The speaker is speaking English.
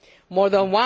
More than